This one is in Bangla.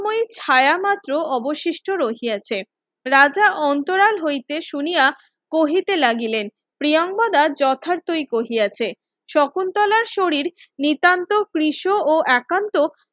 ওই ছায়া মাত্র অবসৃষ্ট রইয়াছে রাজা অন্তরাল হইতে শুনিয়া কহিতে লাগিলেন প্রিয়াঙ্গদা যথার্থই কহিয়াছে শকুন্তলার শরীর নিতান্ত ক্রিস ও একান্ত